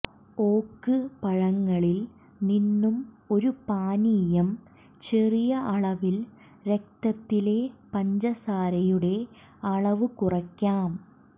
ഓക്ക് പഴങ്ങളിൽ നിന്നും ഒരു പാനീയം ചെറിയ അളവിൽ രക്തത്തിലെ പഞ്ചസാരയുടെ അളവ് കുറയ്ക്കാം